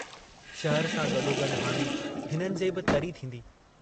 शहर सां गडोगड् हाणे हिननि जे बि तरी थींदी।